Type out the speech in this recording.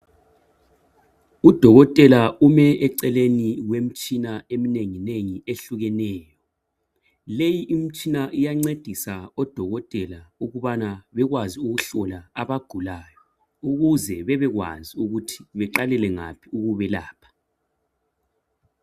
Udokotela ume eceleni kwemitshina eminenginengi ehlukeneyo. Leyi imtshina iyancedisa odokotela ukubana bekwazi ukuhlola abagulayo ukuze bebekwazi ukuthi beqalele ngaphi ukubelapha.